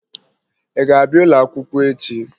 Ị ga-abịa ụlọakwụkwọ echi?